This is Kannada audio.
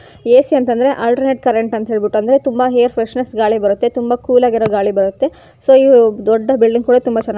ಎ.ಸಿ ಅಂತಂದ್ರೆ ಆಲ್ಟರ್ನೆಟ್ ಕರೆಂಟ್ ಅಂತ ಹೇಳ್ಬಿಟ್ಟು ಅಂದ್ರೆ ತುಂಬಾ ಏರ್ ಫ್ರೆಶ್ ಗಾಳಿ ಬರುತ್ತೆ ತುಂಬಾ ಕೂಲಾ ಗಿರೋ ಗಾಳಿ ಬರುತ್ತೆ ಸೊ ಈ ದೊಡ್ಡ ಬಿಲ್ಡಿಂಗ್ ಕೂಡ ತುಂಬಾ ಚೆನ್ನಾಗಿ --